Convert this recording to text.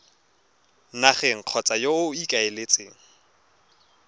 nageng kgotsa yo o ikaeletseng